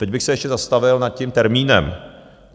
Teď bych se ještě zastavil nad tím termínem.